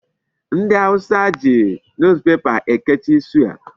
Ndị awụsa ji Newspaper ekechi suya.